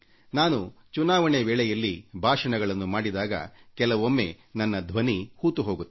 ನಾನು ಚುನಾವಣೆ ವೇಳೆಯಲ್ಲಿ ಭಾಷಣಗಳನ್ನು ಮಾಡಿದಾಗ ಕೆಲವೊಮ್ಮೆ ನನ್ನ ಧ್ವನಿ ಹೂತು ಹೋಗುತ್ತದೆ